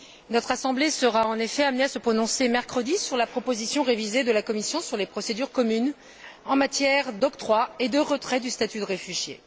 Notre Assemblée sera en effet amenée à se prononcer mercredi sur la proposition révisée de la Commission sur les procédures communes en matière d'octroi et de retrait du statut de réfugié.